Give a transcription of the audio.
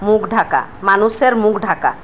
মুখ ঢাকা মানুষের মুখ ঢাকা।